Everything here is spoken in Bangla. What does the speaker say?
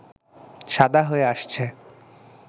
সাদা হয়ে আসছে